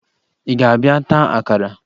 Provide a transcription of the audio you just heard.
Ị ga-abịa taa akara?